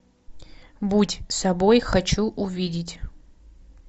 будь собой хочу увидеть